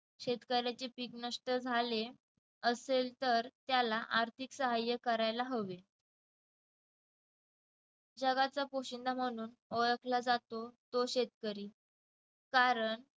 शेतकऱ्यांचे पीक नष्ट झाले असेल तर त्याला आर्थिक सहाय्य करायला हवे. जगाचा पोशिंदा म्हणून ओळखला जातो तो शेतकरी. कारण